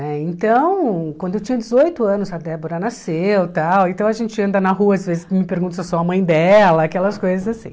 Né então, quando eu tinha dezoito anos, a Débora nasceu tal, então a gente anda na rua, às vezes me perguntam se eu sou a mãe dela, aquelas coisas assim.